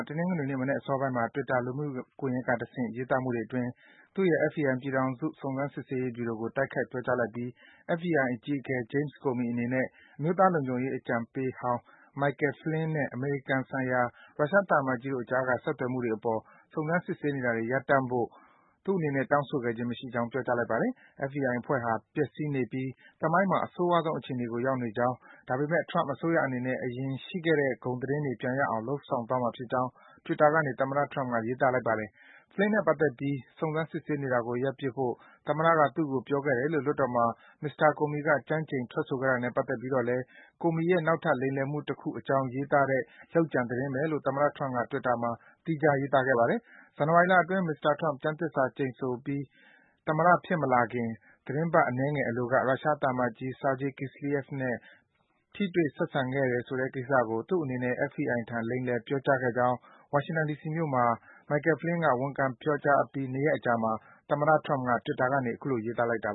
တနင်္ဂနွေနေ့မနက် အစောပိုင်းမှာ Twitter လူမှုကွန်ယက်ကတဆင့် ရေးသားမှုတွေအတွင်း FBI ပြည်ထောင်စု စုံစမ်းစစ်ဆေးရေး ဗြူရိုကို တိုက်ခိုက် ပြောကြားလိုက်ပြီး သူ့ရဲ့ အမျိုးသားလုံခြုံရေး အကြံပေးဟောင်း Michael Flynn နဲ့ အမေရိကန်ဆိုင်ရာ ရုရှားသံအမတ်ကြီးတို့အကြားက ဆက်သွယ်မှုတွေအပေါ် စုံစမ်းစစ်ဆေးနေတာတွေ ရပ်တန့်ဖို့ အကြီးအကဲဟောင်း James Comey ကို သူ့အနေနဲ့ တောင်းဆိုခဲ့ခြင်း မရှိကြောင်း ပြောကြားလိုက်ပါတယ်။ FBI အဖွဲ့ဟာ ပျက်စီးနေပြီး သမိုင်းမှာ အဆိုးရွားဆုံးအခြေအနေကို ရောက်နေကြောင်း၊ ဒါပေမယ့် Trump အစိုးရအနေနဲ့ အရင်ကရှိခဲ့တဲ့ ဂုဏ်သတင်းတွေ ပြန်ရအောင် လုပ်ဆောင်သွားမှာ ဖြစ်ကြောင်း Twitter ကနေ သမ္မတ Trump က ရေးသားလိုက်ပါတယ်။ Flynn နဲ့ ပတ်သက်ပြီး စုံစမ်း စစ်ဆေးနေတာကို ရပ်ပစ်ဖို့ သမ္မတက သူ့ကို ပြောခဲ့တယ်လို့ လွှတ်တော်မှာ မစ္စတာ Comey က ကျမ်းကျိန် ထွက်ဆိုခဲ့တာနဲ့ ပတ်သက်ပြီးတော့လဲ Comey ရဲ့ နောက်ထပ် လိမ်လည်မှုတခုအကြောင်း ရေးထားတဲ့ လုပ်ကြံသတင်းပဲလို့ သမ္မတ Trump က Twitter မှာ သီးခြား ရေးခဲ့ပါသေးတယ်။ ဇန်နဝါရီလအတွင်း မစ္စတာ Trump ကျမ်းသစ္စာ ကျိန်ဆိုပြီး သမ္မတဖြစ်မလာခင် သီတင်းပတ် အနည်းငယ်အလိုက ရုရှားသံအမတ်ကြီး Sergey Kislyak နဲ့ အဆက်အဆံရှိခဲ့တယ်ဆိုတဲ့ ကိစ္စကို သူ့အနေနဲ့ FBI ထံ လိမ်လည် ပြောကြားခဲ့ကြောင်း ဝါရှင်တန် ဒီစီမြို့မှာ ဝန်ခံ ပြောကြား ပြီး နှစ်ရက်အကြာမှာ သမ္မတ Trump က Twitter ကနေ အခုလို ရေးသားလိုက်တာ